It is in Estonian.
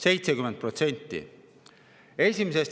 70%!